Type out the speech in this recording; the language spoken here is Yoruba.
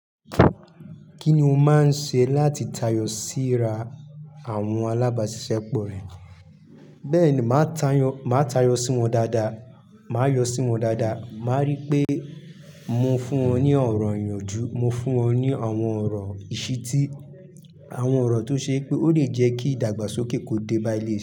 Kí ni o máa ń ṣe láti tayọ síra àwọn alábàáṣiṣẹ́ pọ rẹ? Bẹ́ẹ̀ ni, màá tayọ sí wọn dáadáa, màá yọ sí wọn dáadáa, màá rí pé mo fún wọn ní ọ̀rọ̀ ìyànjú, mo fún wọn ní àwọn ọ̀rọ̀ ìṣítí, àwọn ọ̀rọ̀ tó ṣe pé ó lè jẹ́ kí ìdàgbàsókè kó dé bá ilé.